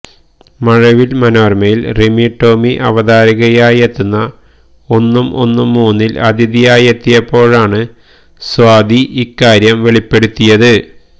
മഴവിൽ മനോരമയിൽ റിമി ടോമി അവതാരകയായെത്തുന്ന ഒന്നും ഒന്നും മൂന്നിൽ അതിഥിയായെത്തിയപ്പോഴാണ് സ്വാതി ഇക്കാര്യം വെളിപ്പെടുത്തിയത്